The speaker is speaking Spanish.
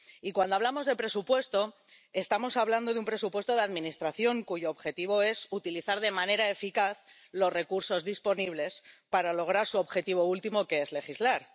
Y, cuando hablamos de presupuesto, estamos hablando de un presupuesto de administración, cuyo objetivo es utilizar de manera eficaz los recursos disponibles para lograr su objetivo último, que es legislar.